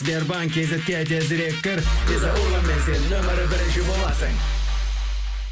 сбербанк кейзетке тезірек кір виза урбанмен сен нөмірі бірінші боласын